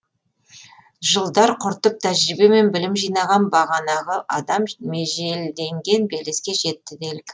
жылдар құртып тәжірибе мен білім жинаған бағанағы адам межелденген белеске жетті делік